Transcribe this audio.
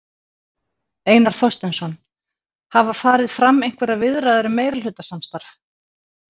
Einar Þorsteinsson: Hafa farið fram einhverjar viðræður um meirihlutasamstarf?